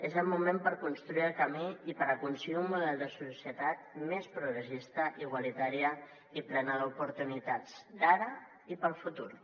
és el moment per construir el camí i per aconseguir un model de societat més progressista igualitària i plena d’oportunitats ara i per al futur